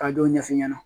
Ka dɔw ɲɛfɔ ɲɛna